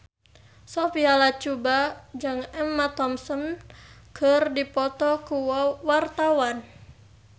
Sophia Latjuba jeung Emma Thompson keur dipoto ku wartawan